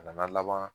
A nana laban